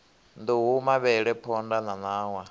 nduhu mavhele phonḓa na ṋawa